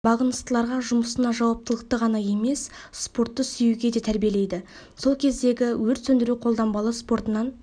бағыныстыларға жұмысына жауаптылыққа ғана емес спортты сүюге де тәрбиелейді сол кездегі өрт сөндіру қолданбалы спортынан